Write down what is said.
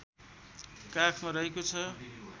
काखमा रहेको छ